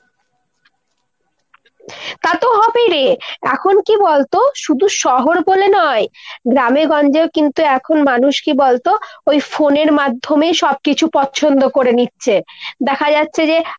তাতো হবেই রে। এখন কী বলতো শুধু শহর বলে নয় গ্রামেগঞ্জেও কিন্তু এখন মানুষ কী বলতো ওই phone এর মাধ্যমে সব কিছু পছন্দ করে নিচ্ছে। দেখা যাচ্ছে যে